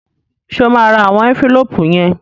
Ṣé o máa ra àwọn ẹ́ńfílóòpù yẹn?